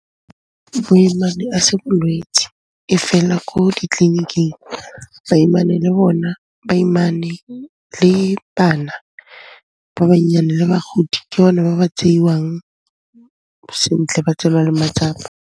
Boimane a se bolwetsi, e fela ko ditleliniking baimane le bana ba bannyane le bagodi, ke bone ba ba tseiwang sentle, ba tseelwa le matsapa.